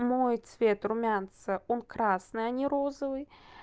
мой цвет румянца он красный а не розовый